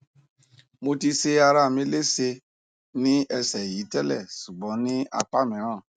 mo ti se arami lese ni ese yi tele sugbon ni apamiran